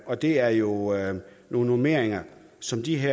og det er jo er jo nogle normeringer som disse